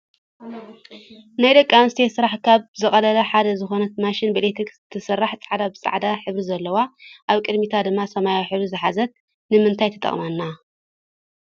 ናይ ደቂ ኣንስትዮ ስራሕ ካብ ዘቅልላ ሓደ ዝኮነት ማሽን ብኢሌትርክ ትሰርሕ ፃዕዳ ብፃዕዳ ሕብሪ ዘለዋ ኣብቅዲሚታ ድማ ሰማያዊ ሕብሪ ዝሓዘት ንምእታይ ትጠቅመና?